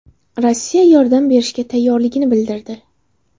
Rossiya yordam berishga tayyorligini bildirdi.